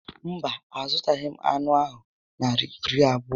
Mba, a zụtaghị m anụ ahụ Naịra iri abụọ